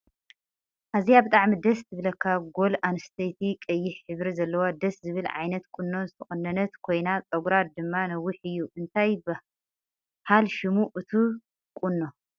ኣዝያ ብጣዕሚ ደስ ትብለካ ጎል ኣንስተየቲ ቀያሕ ሕብሪ ዘለዋ ደስ ዝብል ዓይነት ቁኖ ዝተቆነነት ኮይና ፀጉራ ድማ ነዊሕ እዩ። እንታይ ብሃል ሽሙ እቱይ ቁኖ?